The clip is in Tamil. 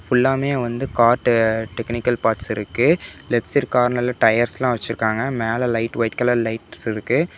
ஃபுல்லாமே வந்து கார் டெக்னிக்கல் பார்ட்ஸ் இருக்கு லெப்ட் சைடு கார்னர்ல டயர்ஸ்லாம் வச்சிருக்காங்க மேல லைட் வைட் கலர் லைட்ஸ் இருக்கு.